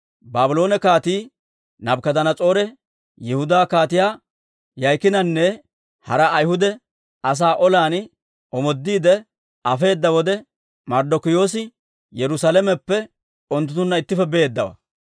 Baabloone Kaatii Naabukadanas'oore Yihudaa Kaatiyaa Yo'aakiinanne hara Ayhuda asaa olan omoodiide afeedda wode, Marddokiyoosi Yerusaalameppe unttunttunna ittippe beeddawaa.